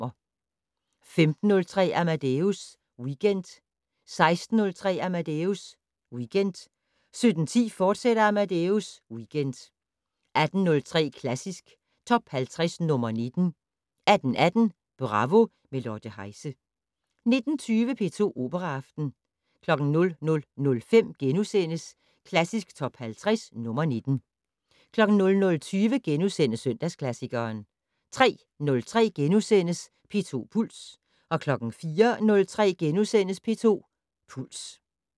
15:03: Amadeus Weekend 16:03: Amadeus Weekend 17:10: Amadeus Weekend, fortsat 18:03: Klassisk Top 50 - nr. 19 18:18: Bravo - med Lotte Heise 19:20: P2 Operaaften 00:05: Klassisk Top 50 - nr. 19 * 00:20: Søndagsklassikeren * 03:03: P2 Puls * 04:03: P2 Puls *